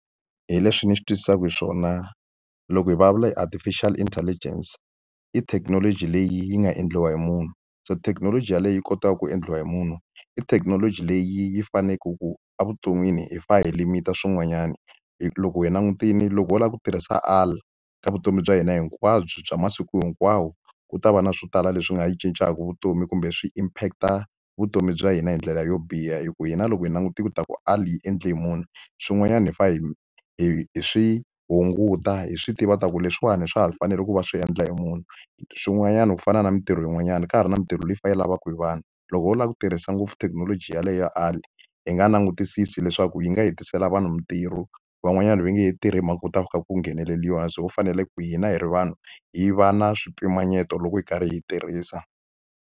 Hi leswi ni swi twisisaka xiswona, loko hi vulavula hi artificial intelligence, i thekinoloji leyi yi nga endliwa hi munhu. So thekinoloji yaleyo yi kotaka ku endliwa hi munhu, i thekinoloji leyi faneleke ku evuton'wini hi fanele hi limit-a swin'wanyana. Loko hi langutile loko wo lava ku tirhisa AI ka vutomi bya hina hinkwabyo bya masiku hinkwawo ku ta va na swo tala leswi nga yi cincaka vutomi kumbe swi impact-a vutomi bya hina hi ndlela yo biha. Hikuva hina loko hi langutile ta ku AI hi endle hi munhu, swin'wanyana hi fanele hi hi hi swi hunguta hi swi tiva leswaku leswiwani swa hi fanele ku va swi endla hi munhu. Swin'wanyana ku fana na mitirho yin'wanyana ka ha ri na mitirho leyi kha yi lavaka hi vanhu. Loko ho lava ku tirhisa ngopfu thekinoloji yaleyo AI hi nga langutisisi leswaku yi nga hetisela vanhu mitirho, van'wanyana va nge tirhi hi mhaka ku ta va ku kha ku gheneleriwa, Se ho fanele ku hina hi ri vanhu, hi va na swipimanyeto loko hi karhi hi yi tirhisa.